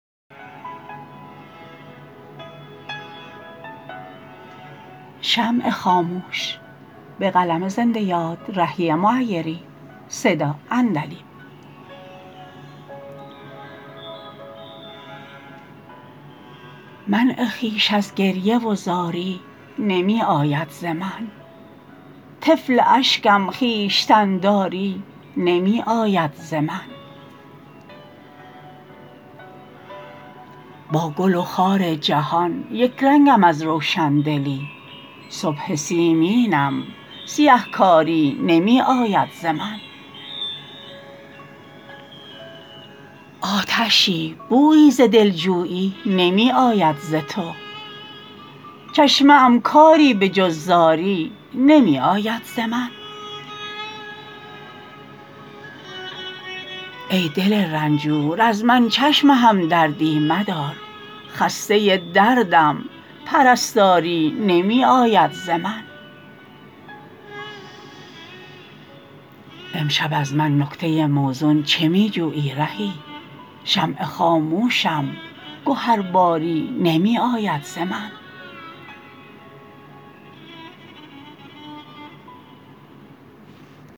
منع خویش از گریه و زاری نمی آید ز من طفل اشکم خویشتن داری نمی آید ز من با گل و خار جهان یک رنگم از روشندلی صبح سیمینم سیه کاری نمی آید ز من آتشی بویی ز دلجویی نمی آید ز تو چشمه ام کاری به جز زاری نمی آید ز من ای دل رنجور از من چشم همدردی مدار خسته دردم پرستاری نمی آید ز من امشب از من نکته موزون چه می جویی رهی شمع خاموشم گهرباری نمی آید ز من